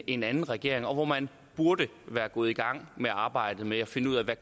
en anden regering og hvor man burde være gået i gang med arbejdet med at finde ud af